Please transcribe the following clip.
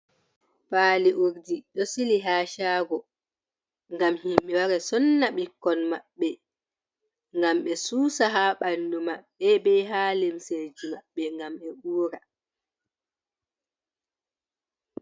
Paali urdi ɗo sili haa caago ,ngam himɓe wara sonna bikkon maɓbe. Ngam ɓe suusa haa ɓanndu maɓɓe be haa limseji maɓɓe ngam ɓe uura.